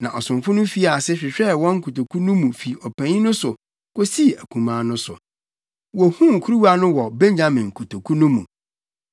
Na ɔsomfo no fii ase, hwehwɛɛ wɔn nkotoku no mu fi ɔpanyin no so kosii akumaa no so. Wohuu kuruwa no wɔ Benyamin kotoku no mu.